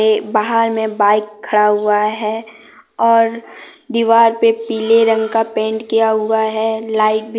बाहर में बाइक खड़ा हुआ है और दीवार पे पीले रंग का पेंट किया हुआ है लाइट भी--